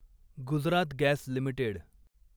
Gujarat gas limited